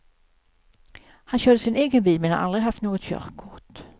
Han körde sin egen bil men har aldrig haft något körkort.